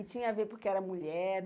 E tinha a ver porque era mulher?